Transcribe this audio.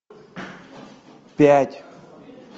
пять